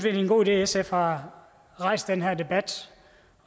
er en god idé at sf har rejst den her debat